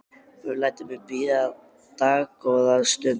Guð lætur mig bíða dágóða stund.